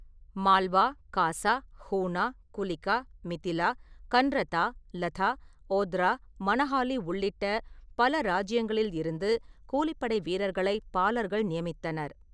மால்வா, காசா, ஹுனா, குலிகா, மிதிலா, கன்ரதா, லதா, ஒத்ரா, மனஹாலி உள்ளிட்ட பல ராஜ்ஜியங்களிலிருந்து கூலிப்படை வீரர்களை பாலர்கள் நியமித்தனர்.